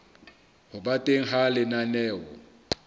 ho ba teng ha lenaneo